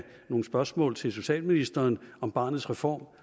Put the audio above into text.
nogle spørgsmål til socialministeren om barnets reform